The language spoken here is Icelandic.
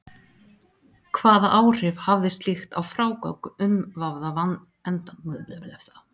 Hvaða áhrif hafði slíkt á frágang umvafða endans?